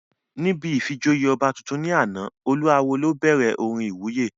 Níbi ìfijoyè ọba tuntun ní àná, olú awó ló bẹ̀rẹ̀ orin ìwúyè